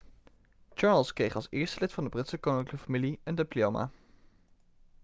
charles kreeg als eerste lid van de britse koninklijke familie een diploma